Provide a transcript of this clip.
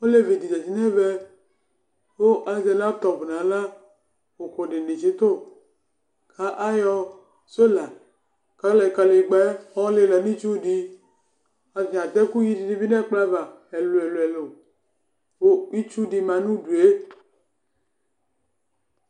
Olevi ɖɩ zati nʋ ɛvɛ ,ƙʋ azɛ latɔp nʋ aɣla ,ʋƙʋ ɖɩnɩ tsɩtʋ,ƙʋ aƴɔ sola ɔlɩla nʋ itsu dɩ;atanɩ aɖʋ ɛƙʋyi nɩ nʋ ɛƙplɔava ɛlʋɛlʋ ƙʋ itsu ɖɩ ma nʋ uɖue